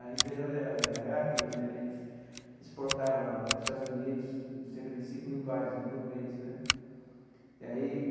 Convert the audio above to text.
A empresa era era a Hercules né, eles exportavam para os Estados Unidos cerca de cinco mil pares né por mês né aí.